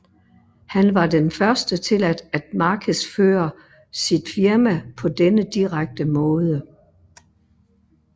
Han var den første til at markedsføre sit firma på denne direkte måde